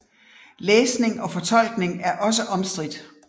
Læsning og fortolkning er også omstridt